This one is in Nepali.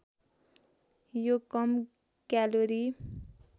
यो कम क्यालोरी